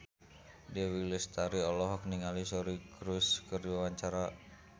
Dewi Lestari olohok ningali Suri Cruise keur diwawancara